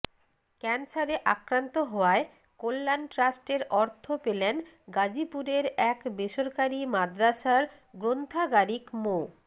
ক্যান্সারে আক্রান্ত হওয়ায় কল্যাণ ট্রাস্টের অর্থ পেলেন গাজীপুরের এক বেসরকারি মাদরাসার গ্রন্থাগারিক মো